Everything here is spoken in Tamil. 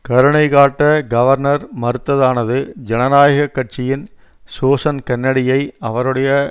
கருணை காட்ட கவர்னர் மறுத்ததானது ஜனநாயக கட்சியின் சோசன் கென்னடியை அவருடைய